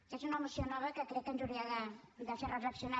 aquesta és una moció nova que crec que ens hauria de fer reflexionar